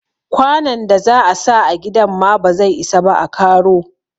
Kwanon da za a sa a gidan ma ba zai isa ba a karo.